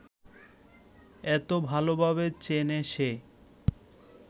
এত ভালভাবে চেনে সে